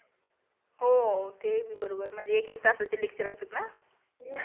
हो ते बी बरोबर म्हणजे एक एक तासाचे lecture असते ना